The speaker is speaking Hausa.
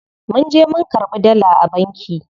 Munje mun karɓi dala a banki.